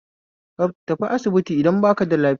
Kaf tafi asibiti idan baka da lafiya